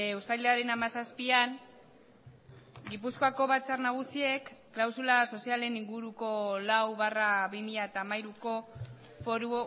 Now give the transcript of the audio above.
uztailaren hamazazpian gipuzkoako batzar nagusiek klausula sozialen inguruko lau barra bi mila hamairuko foru